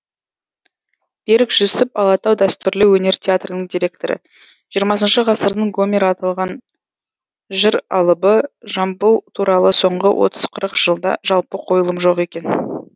берік жүсіп алатау дәстүрлі өнер театрының директоры жиырмасыншы ғасырдың гомері атанған жыр алыбы жамбыл туралы соңғы отыз қырық жылда жалпы қойылым жоқ екен